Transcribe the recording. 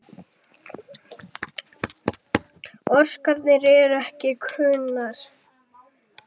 Orsakir eru ekki kunnar.